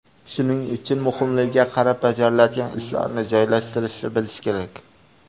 Shuning uchun muhimligiga qarab bajariladigan ishlarni joylashtirishni bilish kerak.